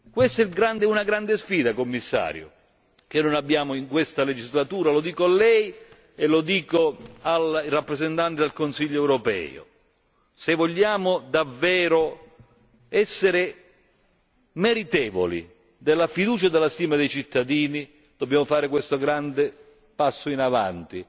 Questa è una grande sfida, Commissario, che non abbiamo in questa legislatura lo dico a Lei e lo dico al rappresentante del Consiglio europeo se vogliamo davvero essere meritevoli della fiducia e della stima dei cittadini dobbiamo fare questo grande passo in avanti,